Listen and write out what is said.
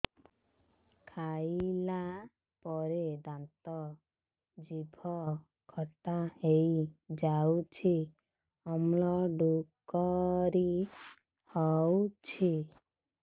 ଖାଇଲା ପରେ ଦାନ୍ତ ଜିଭ ଖଟା ହେଇଯାଉଛି ଅମ୍ଳ ଡ଼ୁକରି ହଉଛି